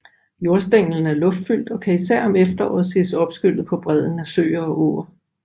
Jordstænglen er luftfyldt og kan især om efteråret ses opskyllet på bredden af søer og åer